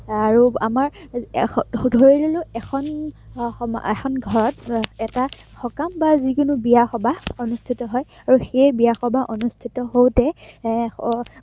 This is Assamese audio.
আহ আৰু আমাৰ এৰ ধৰি ললো আহ এখন সমাজ, এখন ঘৰত এটা সকাম বা যিকোনো বিয়া-সবাহ অনুষ্ঠিত হয় আৰু সেই বিয়া, সবাহ অনুষ্ঠিত হওতে এৰ